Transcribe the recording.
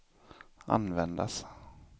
användas